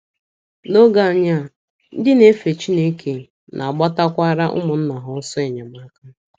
N’oge anyị a, ndị na - efe Chineke na - agbatakwara ụmụnna ha ọsọ enyemaka.